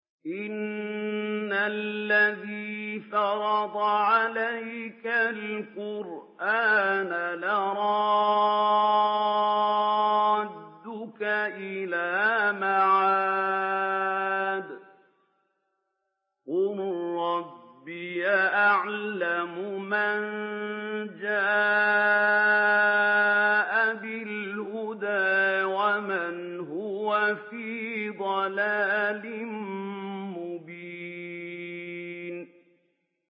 إِنَّ الَّذِي فَرَضَ عَلَيْكَ الْقُرْآنَ لَرَادُّكَ إِلَىٰ مَعَادٍ ۚ قُل رَّبِّي أَعْلَمُ مَن جَاءَ بِالْهُدَىٰ وَمَنْ هُوَ فِي ضَلَالٍ مُّبِينٍ